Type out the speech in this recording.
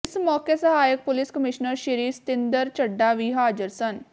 ਇਸ ਮੌਕੇ ਸਹਾਇਕ ਪੁਲਿਸ ਕਮਿਸ਼ਨਰ ਸ੍ਰੀ ਸਤਿੰਦਰ ਚੱਢਾ ਵੀ ਹਾਜ਼ਰ ਸਨ